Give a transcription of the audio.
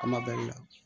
A kuma bali la